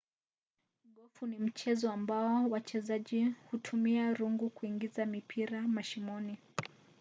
gofu ni mchezo ambao wachezaji hutumia rungu kuingiza mipira mashimoni